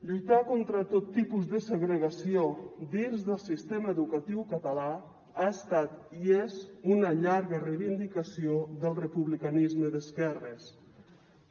lluitar contra tot tipus de segregació dins del sistema educatiu català ha estat i és una llarga reivindicació del republicanisme d’esquerres